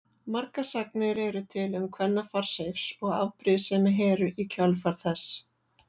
Margar sagnir eru til um kvennafar Seifs og afbrýðisemi Heru í kjölfar þess.